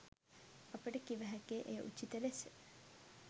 අපට කිව හැක්කේ එය උචිත ලෙස